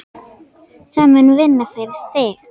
Það mun vinna fyrir þig.